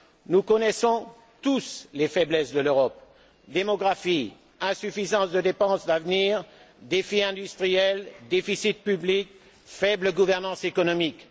Nous connaissons tous les faiblesses de l'Europe démographie, insuffisance des dépenses d'avenir, défis industriels, déficit public, faible gouvernance économique.